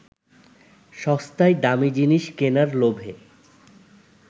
সস্তায় দামি জিনিস কেনার লোভে